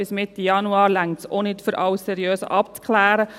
Bis Mitte Januar reicht es auch nicht, alles seriös abzuklären.